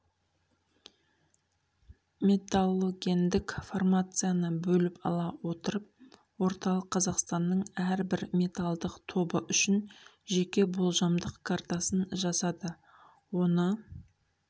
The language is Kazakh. металлогендік формацияны бөліп ала отырып орталық қазақстанның әрбір металдық тобы үшін жеке болжамдық картасын жасады оны